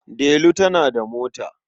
Delu tana da mota.